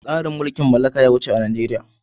Tsarin mulkin mallaka ya wuce a Najeriya.